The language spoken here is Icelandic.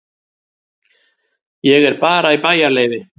Ég er bara í bæjarleyfi.